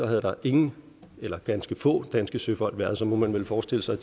havde været ingen eller ganske få danske søfolk og så må man vel forestille sig